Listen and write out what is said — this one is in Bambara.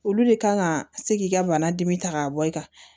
Olu de kan ka se k'i ka bana dimi ta k'a bɔ i ka